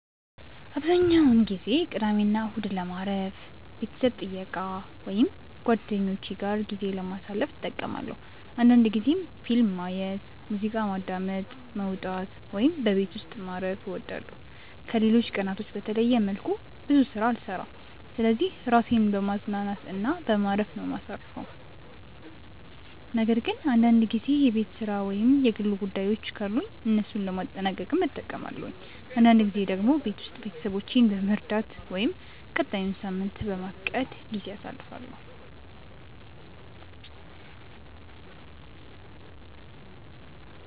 አብዛኛውን ጊዜ ቅዳሜና እሁድን ለማረፍ፣ ቤተሰብ ጥየቃ ወይም ከጓደኞቼ ጋር ጊዜ ለማሳለፍ እጠቀማለሁ አንዳንድ ጊዜም ፊልም ማየት፣ ሙዚቃ ማዳመጥ፣ መውጣት ወይም በቤት ውስጥ ማረፍ እወዳለሁ። ከሌሎች ቀናቶች በተለየ መልኩ ብዙ ስራ አልሰራም ስለዚህ ራሴን በማዝናናት እና በማረፍ ነው ማሳርፈው ነገር ግን አንዳንድ ጊዜ የቤት ስራ ወይም የግል ጉዳዮችን ካሉኝ እነሱን ለማጠናቀቅም እጠቀማለሁ። አንዳንድ ጊዜ ደግሞ ቤት ውስጥ ቤተሰቦቼን በመርዳት ወይም ቀጣዩን ሳምንት በማቀድ ጊዜ አሳልፋለሁ።